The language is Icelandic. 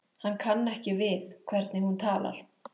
Hann kann ekki við hvernig hún talar.